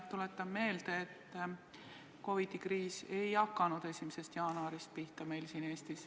Tuletan meelde, et COVID-i kriis ei hakanud meil siin Eestis pihta 1. jaanuaril.